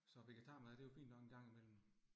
Så vegetarmad det jo fint nok en gang imellem